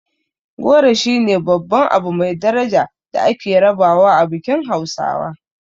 Goro shine babban abu mai daraja da ake rabawa a bikin hausawa.